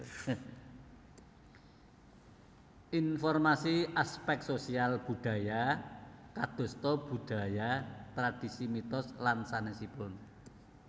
Informasi aspek sosial budaya kadosta budaya tradisi mitos lan sanèsipun